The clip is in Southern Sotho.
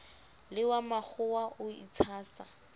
le wa makgowa o itshasa